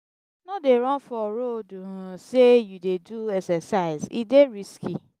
no dey run for road sey you dey do exercise e dey risky.